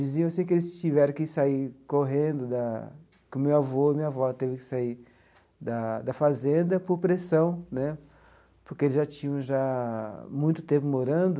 Diziam assim que eles tiveram que sair correndo da, que o meu avô e a minha avó teve que sair da da fazenda por pressão né, porque eles já tinham já muito tempo morando.